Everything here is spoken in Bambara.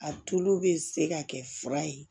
A tulu bɛ se ka kɛ fura ye